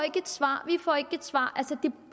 et svar vi får ikke et svar